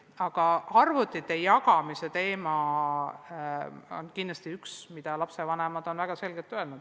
Aga arvutite jagamise teema on kindlasti üks, mille lapsevanemad on väga selgelt esile toonud.